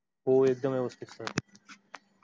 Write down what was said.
हो एकदम व्यवस्तित sir.